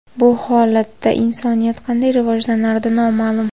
Bu holatda insoniyat qanday rivojlanardi – noma’lum.